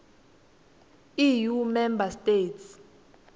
eu member states